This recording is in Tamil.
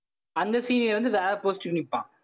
அந்த senior வந்து வேற post க்கு நிப்பான்